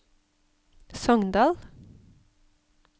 Sogndal